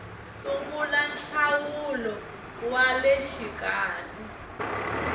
sungula nhlawulo wa le xikarhi